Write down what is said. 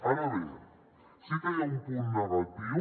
ara bé sí que hi ha un punt negatiu